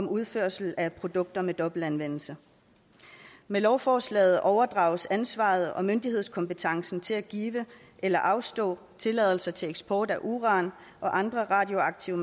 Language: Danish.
udførsel af produkter med dobbelt anvendelse med lovforslaget overdrages ansvaret og myndighedskompetencen til at give eller afslå tilladelser til eksport af uran og andre radioaktive